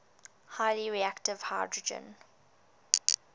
highly reactive hydrogen